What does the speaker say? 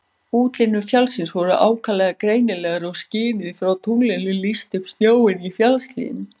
Útlínur fjallsins voru ákaflega greinilegar og skinið frá tunglinu lýsti upp snjóinn í fjallshlíðunum.